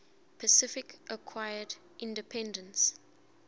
pacific acquired independence